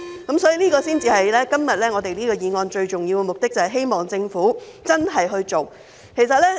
今天這項議案最重要的目的，就是希望政府要認真處理問題。